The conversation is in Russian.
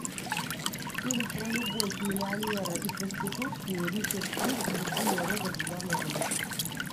фильм про любовь миллионера и проститутки ричард гир и джулия робертс в главной роли